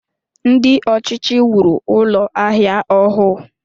Ndị ọchịchị wuru Ụlọ ahịa ọhụụ